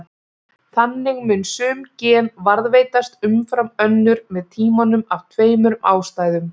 Þannig muni sum gen varðveitast umfram önnur með tímanum af tveimur ástæðum.